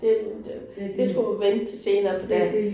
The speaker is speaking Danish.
Det det det skulle man vente til senere på dagen